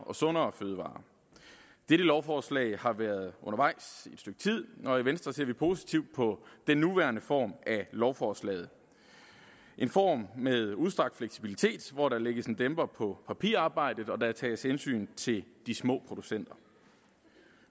og sundere fødevarer dette lovforslag har været undervejs i stykke tid og i venstre ser vi positivt på den nuværende form af lovforslaget en form med udstrakt fleksibilitet hvor der lægges en dæmper på papirarbejdet og tages hensyn til de små producenter